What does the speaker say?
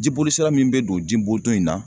Jibolisira min bɛ don jibonton in na.